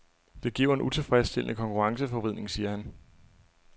Det giver en utilfredsstillende konkurrenceforvridning, siger han.